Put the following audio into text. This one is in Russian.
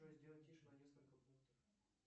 джой сделай тише на несколько пунктов